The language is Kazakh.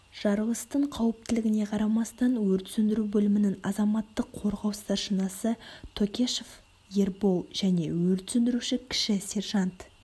жарылыстың қауіптілігіне қарамастан өрт сөндіру бөлімінің азаматтық қорғау старшинасы токешов ербол және өрт сөндіруші кіші сержант